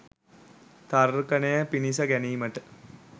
තර්කනය පිණිස ගැනීමට